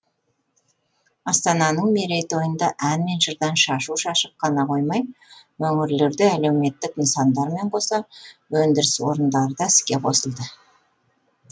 астананың мерейтойында ән мен жырдан шашу шашып қана қоймай өңірлерде әлеуметтік нысандармен қоса өндіріс орындары да іске қосылды